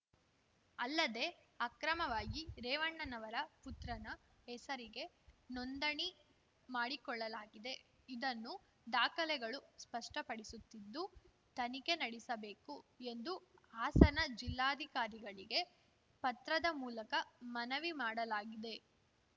ಅಲ್ಲದೆ ಅಕ್ರಮವಾಗಿ ರೇವಣ್ಣನವರ ಪುತ್ರನ ಹೆಸರಿಗೆ ನೋಂದಣಿ ಮಾಡಿಕೊಳ್ಳಲಾಗಿದೆ ಇದನ್ನು ದಾಖಲೆಗಳು ಸ್ಪಷ್ಟಪಡಿಸುತ್ತಿದ್ದು ತನಿಖೆ ನಡೆಸಬೇಕು ಎಂದು ಹಾಸನ ಜಿಲ್ಲಾಧಿಕಾರಿಗಳಿಗೆ ಪತ್ರದ ಮೂಲಕ ಮನವಿ ಮಾಡಲಾಗಿದೆ